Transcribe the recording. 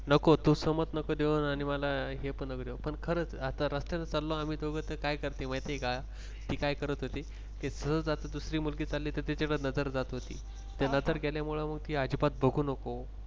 नको तू समज नको देऊ आणि मला हे पण नको देऊ पण खरंच आता रस्त्याने चाललो आम्ही दोघे तर काय करते माहित आहे का ती काय करत होती कि सहज अशी दुसरी मुलगी चालली कि तिच्याकडे नजर जात होती, नजर गेल्यामुळं मग ती अजिबात बघू नको